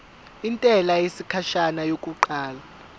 intela yesikhashana yokuqala